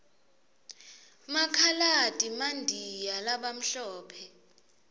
makhaladi mandiya labamhlophe